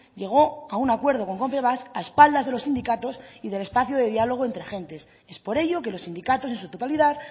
llegó a un acuerdo con confebask a espaldas de los sindicatos y del espacio de diálogo entre agentes es por ello que los sindicatos en su totalidad